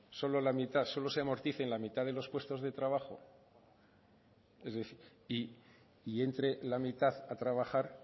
solo la mitad solo se amorticen la mitad de los puestos de trabajo es decir y entre la mitad a trabajar